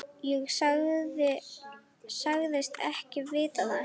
Ég sagðist ekki vita það.